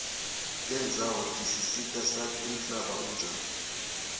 tendzawo tisisita sati umhlaba unjani